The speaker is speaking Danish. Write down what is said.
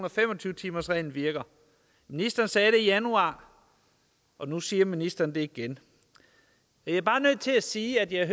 og fem og tyve timersreglen virker ministeren sagde det i januar og nu siger ministeren det igen jeg er bare nødt til at sige at jeg